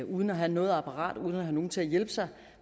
uden at have noget apparat og uden at have nogen til at hjælpe sig